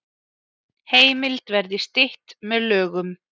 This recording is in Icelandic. Heimild verði stytt með lögum